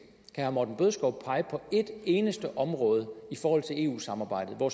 herre morten bødskov pege på et eneste område i forhold til eu samarbejdet hvor